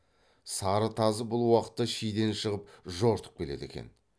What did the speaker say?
сары тазы бұл уақытта шиден шығып жортып келеді екен